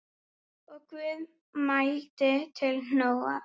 Og Guð mælti til Nóa